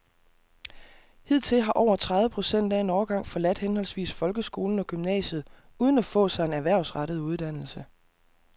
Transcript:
Hidtil har over tredive procent af en årgang forladt henholdsvis folkeskolen og gymnasiet uden at få sig en erhvervsrettet uddannelse.